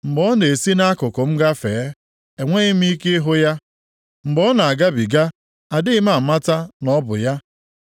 Mgbe ọ na-esi nʼakụkụ m agafe, enweghị m ike ịhụ ya, mgbe ọ na-agabiga, adịghị m amata na ọ bụ ya.